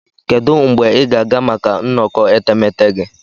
Kedu mgbe ị ga-aga maka nnọkọ etemeete gị?